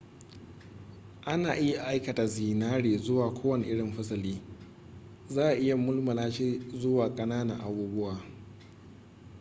ana iya aikata zinare zuwa kowane irin fasali za'a iya mulmula shi zuwa ƙananan abubuwa